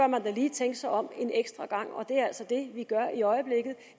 man da lige tænke sig om en ekstra gang det er altså det vi gør i øjeblikket